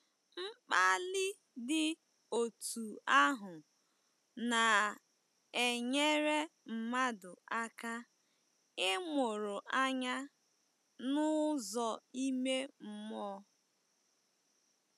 Mkpali dị otú ahụ, na - enyere mmadụ aka ịmụrụ anya n’ụzọ ime mmụọ.